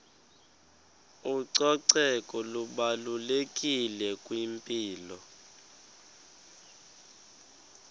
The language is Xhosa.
ucoceko lubalulekile kwimpilo